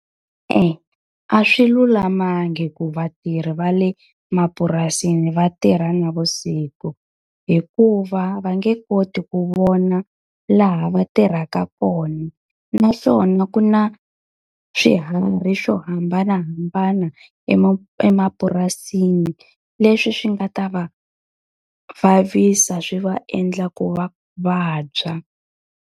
E-e a swi lulamangi ku vatirhi va le mapurasini va tirha navusiku, hikuva va nge koti ku vona laha va tirhaka kona. Naswona ku na swiharhi swo hambanahambana emapurasini leswi swi nga ta va vavisa swi va endla ku va vabya.